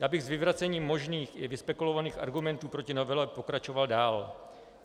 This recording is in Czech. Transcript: Já bych s vyvracením možných i vyspekulovaných argumentů proti novele pokračoval dál.